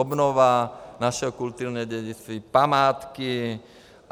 Obnova našeho kulturního dědictví, památky.